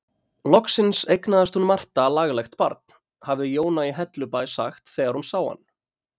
Loksins eignaðist hún Marta laglegt barn, hafði Jóna í Hellubæ sagt þegar hún sá hann.